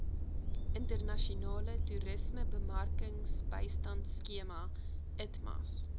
internasionale toerismebemarkingbystandskema itmas